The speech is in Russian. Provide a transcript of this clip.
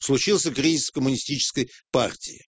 случился кризис коммунистической партии